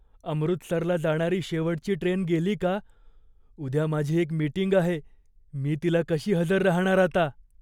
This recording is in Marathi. अमृतसरला जाणारी शेवटची ट्रेन गेली का? उद्या माझी एक मीटिंग आहे, मी तिला कशी हजर राहणार आता?